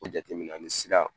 O jateminɛ ani sira